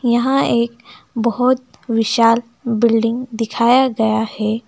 यहां एक बहोत विशाल बिल्डिंग दिखाया गया है।